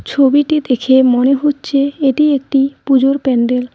ছবিটি দেখে মনে হচ্ছে এটি একটি পুজোর প্যান্ডেল ।